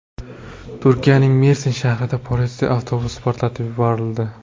Turkiyaning Mersin shahrida politsiya avtobusi portlatib yuborildi.